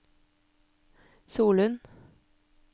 Solund